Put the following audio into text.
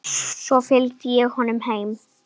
Svo fylgdi ég honum heim.